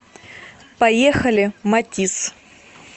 поехали матисс